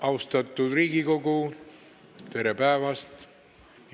Austatud Riigikogu, tere päevast!